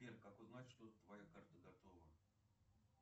сбер как узнать что твоя карта готова